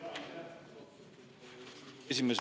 Aitäh, austatud Riigikogu esimees!